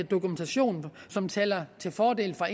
dokumentation som taler til fordel for